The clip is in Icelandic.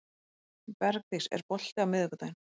Bergdís, er bolti á miðvikudaginn?